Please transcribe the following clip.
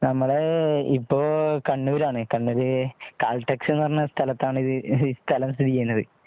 നമ്മള് എപ്പോ കണ്ണൂര് ആണ് കണ്ണൂര് കാലടെക്സ് എന്ന് പറഞ്ഞ ഒരു സ്ഥലത്ത് ആണ് ഈ സ്ഥലം സ്ഥിതി ചെയ്യുന്നത്